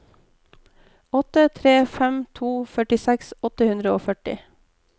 åtte tre fem to førtiseks åtte hundre og førti